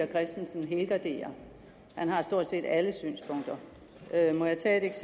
christensen helgarderer han har stort set alle synspunkter må jeg tage et